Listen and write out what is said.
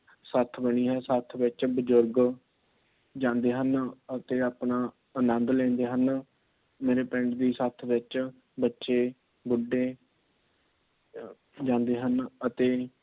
ਸੱਥ ਬਣੀ ਹੈ। ਸੱਥ ਵਿੱਚ ਬਜ਼ੁਰਗ ਜਾਂਦੇ ਹਨ। ਅਤੇ ਆਪਣਾ ਆਨੰਦ ਲੈਂਦੇ ਹਨ। ਮੇਰੇ ਪਿੰਡ ਦੀ ਸੱਥ ਵਿੱਚ ਬੱਚੇ, ਬੁੱਢੇ ਜਾਂਦੇ ਹਨ । ਅਤੇ